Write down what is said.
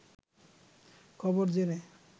খবর জেনে